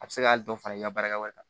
A bɛ se ka dɔ fara i ka baarakɛw kan